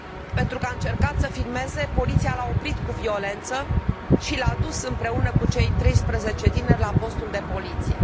Pentru că a încercat să filmeze, poliția l a oprit cu violență și l a dus împreună cu cei 13 tineri la postul de poliție.